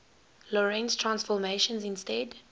lorentz transformations instead